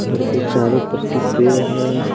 घर के चारो पट्टी पेड़ है।